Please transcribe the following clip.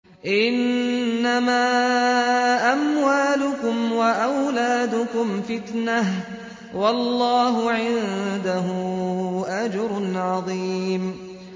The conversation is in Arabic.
إِنَّمَا أَمْوَالُكُمْ وَأَوْلَادُكُمْ فِتْنَةٌ ۚ وَاللَّهُ عِندَهُ أَجْرٌ عَظِيمٌ